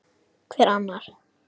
Hver annar?